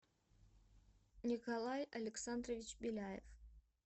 николай александрович беляев